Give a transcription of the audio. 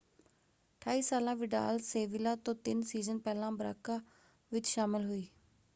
28 ਸਾਲਾ Vidal Sevilla ਤੋਂ ਤਿੰਨ ਸੀਜ਼ਨ ਪਹਿਲਾਂ ਬਰਾਕਾ ਵਿੱਚ ਸ਼ਾਮਲ ਹੋਈ।